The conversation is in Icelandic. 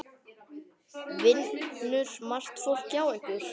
Vinnur margt fólk hjá ykkur?